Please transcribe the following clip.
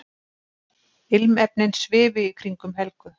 Ilmefnin svifu í kringum Helgu.